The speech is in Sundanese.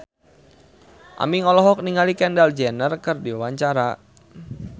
Aming olohok ningali Kendall Jenner keur diwawancara